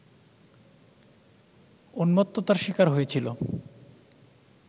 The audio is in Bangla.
উন্মত্ততার শিকার হয়েছিল